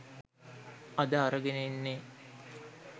අද අරගෙන එන්නෙ